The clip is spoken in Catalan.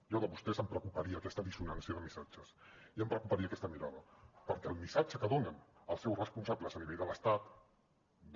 a mi de vostès em preocuparia aquesta dissonància de missatges i em preocuparia aquesta mirada perquè el missatge que donen els seus responsables a nivell de l’estat de